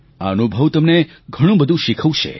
આ અનુભવ તમને ઘણું બધું શીખવશે